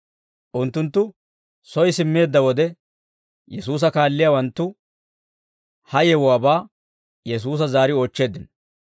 Unttunttu soy simmeedda wode, Yesuusa kaalliyaawanttu ha yewuwaabaa Yesuusa zaari oochcheeddino.